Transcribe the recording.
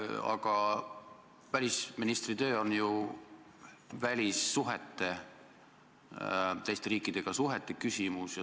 Aga päris ministritöö on ju välissuhete, teiste riikidega suhtlemise küsimus.